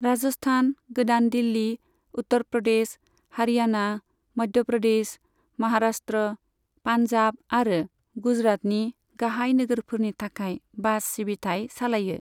राजस्थान, गोदान दिल्ली, उत्तर प्रदेश, हारियाणा, मध्य प्रदेश, महाराष्ट्र, पान्जाब आरो गुजरातनि गाहाय नोगोरफोरनि थाखाय बास सिबिथाय सालायो।